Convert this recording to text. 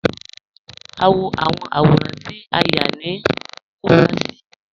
A n wọ awọn awọ̀rán tí a yá ni Kumasi.